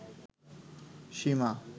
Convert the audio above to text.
সীমা